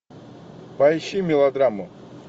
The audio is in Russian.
поищи мелодраму